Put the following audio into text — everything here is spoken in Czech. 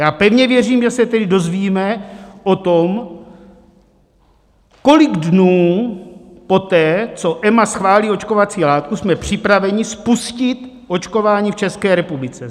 Já pevně věřím, že se teď dozvíme o tom, kolik dnů poté, co EMA schválí očkovací látku, jsme připraveni spustit očkování v České republice.